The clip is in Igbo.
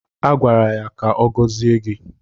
A gwara ya ka ọ gọzie gị